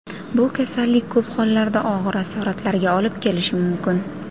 Bu kasallik ko‘p hollarda og‘ir asoratlarga olib kelishi mumkin.